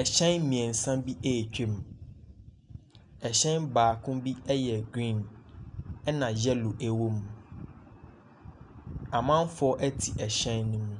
Ahyɛn mmeɛnsa bi retwa mu. Ɛhyɛn baako bi yɛ green, ɛna yellow wɔ mu. Amanfoɔ ti ɛhyɛ no mu.